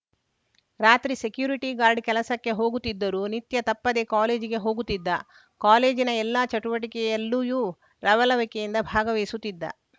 ರಾತ್ರಿ security guard ಕೆಲಸಕ್ಕೆ ಹೋಗುತ್ತಿದ್ದರೂ ನಿತ್ಯ ತಪ್ಪದೆ ಕಾಲೇಜಿಗೆ ಹೋಗುತ್ತಿದ್ದ ಕಾಲೇಜಿನ ಎಲ್ಲ ಚಟುವಟಿಕೆಯಲ್ಲಿಯೂ ಲವಲವಿಕೆಯಿಂದ ಭಾಗವಹಿಸುತ್ತಿದ್ದ